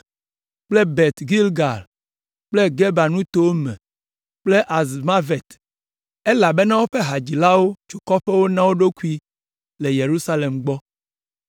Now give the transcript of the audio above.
kple Bet Gilgal kple Geba nutowo me kple Azmavet, elabena woƒe hadzilawo tso kɔƒewo na wo ɖokuiwo le Yerusalem gbɔ.